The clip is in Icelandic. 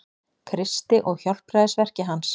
Kristi og hjálpræðisverki hans.